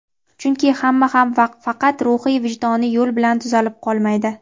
Chunki hamma ham faqat ruhiy-vijdoniy yo‘l bilan tuzalib qolmaydi.